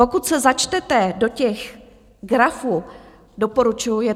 Pokud se začtete do těch grafů, doporučuji...